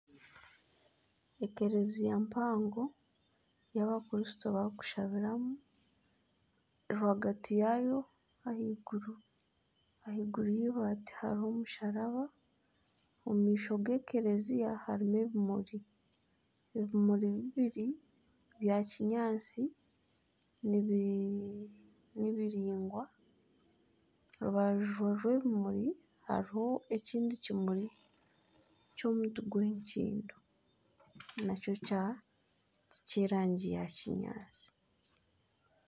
Ekereziya mpango ei abakristo barikushabiramu rwagati yaayo ahaiguru, ahaiguru y'eibaati hariho omusharaba, omu maisho g'ekereziya harimu ebimuri, ebimuri bibiri byakinyatsi nibiringwa aha rubaju rw'ebimuri hariho ekindi kimuri ky'omuti gw'enkindo nakyo ky'erangi ya kinyaatsi